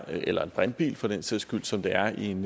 eller en brintbil for den sags skyld som det er i en